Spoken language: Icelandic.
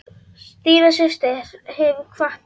Stína systir hefur kvatt okkur.